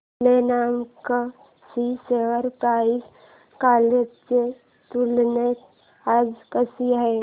Glenmark ची share price कालच्या तुलनेत आज कशी आहे